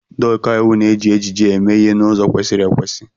Ndị ọkàiwu na-eji ejiji eme ihe n'ụzọ kwesịrị ekwesị.